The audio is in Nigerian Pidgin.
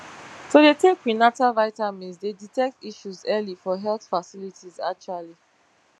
to dey take prenatal vitamins dey detect issues early for health facilities actually